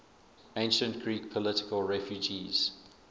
ancient greek political refugees